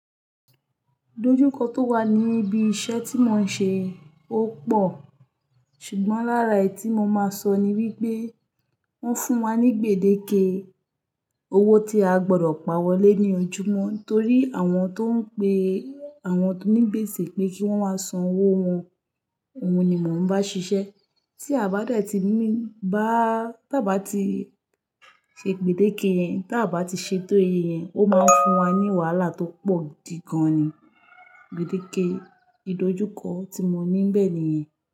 Idojukọ tó wà ní ibi iṣẹ́ tí mo ń ṣe ó pò, ṣùgbọ́n lára èyí tí mo máa sọ ni wípé wọ́n fún wa ní gbèdéke owó tí a gbọdọ̀ pawọ́ lé ní ojoojúmọ́ nítorí àwọn tó ń pe àwọn onígbèsè pé kí wọ́n wá san owó wọn, òun ni mò ń bá ṣiṣẹ́. Tí a bá dẹ̀ ti mí, bá tá bá ti ṣe gbèdéke yẹn, tá bá ti ṣetọ́ iye yẹn, ó máa ń fún wa ní wàhálà tó pọ̀ gidi gan-an ni. Gbèdéke idojukọ tí mo ní m bẹ̀ nìyẹn.